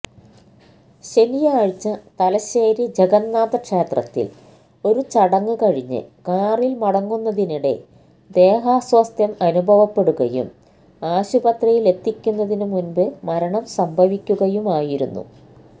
ശനിയാഴ്ച തലശ്ശേരി ജഗന്നാഥക്ഷേത്രത്തിൽ ഒരു ചടങ്ങ് കഴിഞ്ഞ് കാറിൽ മടങ്ങുന്നതിനിടെ ദേഹാസ്വാസ്ഥ്യം അനുഭവപ്പെടുകയും ആശുപത്രിയിലെത്തിക്കുന്നതിനു മുമ്പ് മരണം സംഭവിക്കുകയുമായിരുന്നു